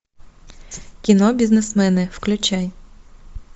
кино бизнесмены включай